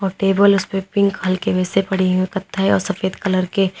अ table उसपे pink हल्के वैसे पड़ी हुई है कत्थे और सफेद कलर के।